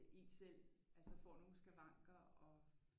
En selv altså får nogle skavanker og